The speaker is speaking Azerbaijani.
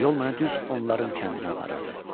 Yol mənə düz onların kəndinə aparırdı.